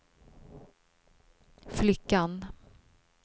flickan